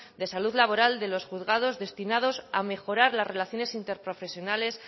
de salud laboral de los juzgados destinados a mejorar las relaciones interprofesionales